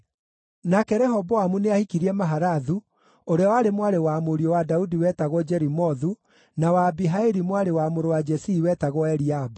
Nake Rehoboamu nĩahikirie Mahalathu, ũrĩa warĩ mwarĩ wa mũriũ wa Daudi wetagwo Jerimothu na wa Abihaili mwarĩ wa mũrũ wa Jesii wetagwo Eliabu.